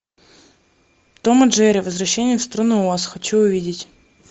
том и джерри возвращение в страну оз хочу увидеть